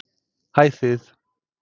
Hæ þið.